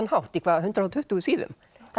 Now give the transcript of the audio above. hátt í hvað hundrað og tuttugu síðum